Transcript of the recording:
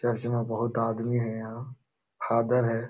Church में बहुत आदमी है यहाँ फादर है।